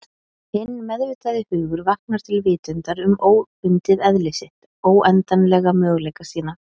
Hinn meðvitaði hugur vaknar til vitundar um óbundið eðli sitt, óendanlega möguleika sína.